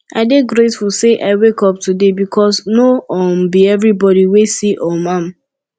i dey grateful say i wake up today bikos no um bi evribodi wey see um am